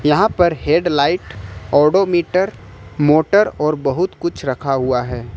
यहां पर headlight odometer motor और बहुत कुछ रखा हुआ है।